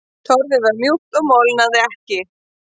Torfið var mjúkt og molnaði ekki.